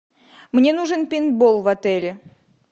мне нужен пейнтбол в отеле